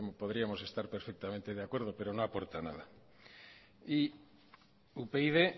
podríamos estar perfectamente de acuerdo pero no aporta nada y upyd